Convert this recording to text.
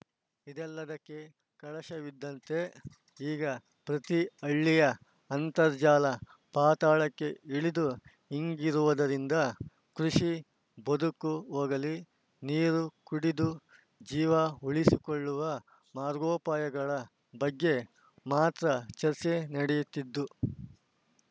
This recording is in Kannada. ಇದೆಲ್ಲದಕ್ಕೆ ಕಳಶವಿದ್ದಂತೆ ಈಗ ಪ್ರತಿ ಹಳ್ಳಿಯ ಅಂತರ್ಜಲ ಪಾತಾಳಕ್ಕೆ ಇಳಿದು ಇಂಗಿರುವುದರಿಂದ ಕೃಷಿ ಬದುಕು ಹೋಗಲಿ ನೀರು ಕುಡಿದು ಜೀವ ಉಳಿಸಿಕೊಳ್ಳುವ ಮಾರ್ಗೋಪಾಯಗಳ ಬಗ್ಗೆ ಮಾತ್ರ ಚರ್ಚೆ ನಡೆಯುತ್ತಿದು